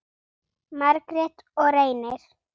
Margrét og Reynir.